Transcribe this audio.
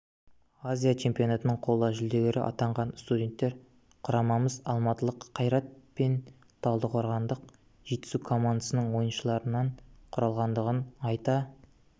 азия чемпионатының қола жүлдегері атанған студенттер құрамамыз алматылық қайрат пен талдықорғандық жетісу командасының ойыншыларынан құралғандығын айта